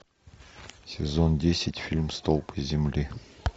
сезон десять фильм столпы земли